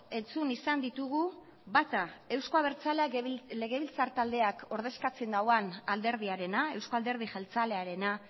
entzun izan ditugu bata euzko abertzaleak legebiltzar taldeak ordezkatzen duen alderdiarena eusko alderdi jeltzalearena